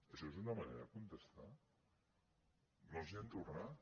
això és una manera de contestar no els ho han tornat